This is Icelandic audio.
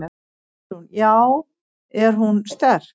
Guðrún: Já er hún sterk?